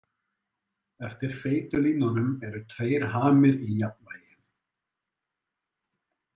Eftir feitu línunum eru tveir hamir í jafnvægi.